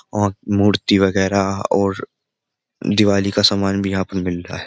और मूर्ति वगैरह और दिवाली का सामान भी यहां पर मिल रहा है।